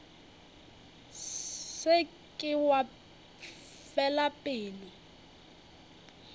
se ke wa fela pelo